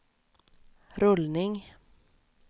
rullning